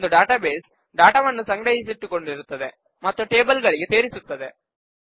ಒಂದು ಡಾಟಾಬೇಸ್ ಡಾಟಾವನ್ನು ಸಂಗ್ರಹಿಸಿಟ್ಟುಕೊಂಡಿರುತ್ತದೆ ಮತ್ತು ಟೇಬಲ್ ಗಳಿಗೆ ಸೇರಿಸುತ್ತದೆ